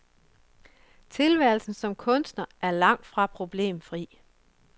Tilværelsen som kunstner er langtfra problemfri.